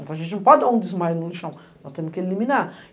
Então a gente não pode dar um desmaio no lixão, nós temos que eliminar.